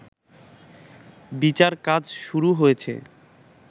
বিচার কাজ শুরু হয়েছে